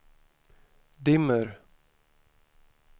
dimmer